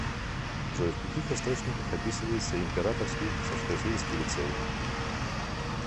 джой в каких источниках описывается императорский царскосельский лицей